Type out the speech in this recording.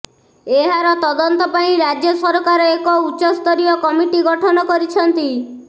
ଏହାର ତଦନ୍ତ ପାଇଁ ରାଜ୍ୟସରକାର ଏକ ଉଚ୍ଚସ୍ତରୀୟ କମିଟି ଗଠନ କରିଛନ୍ତି